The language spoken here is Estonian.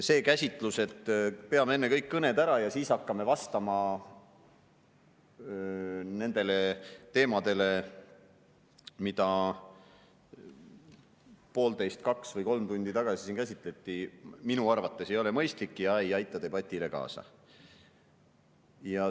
See käsitlus, et peame enne kõik kõned ära ja siis hakkame vastama sellele, mida siin poolteist, kaks või kolm tundi tagasi käsitleti, ei ole minu arvates mõistlik ja ei aita debatile kaasa.